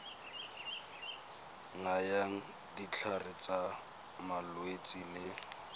nayang ditlhare tsa malwetse le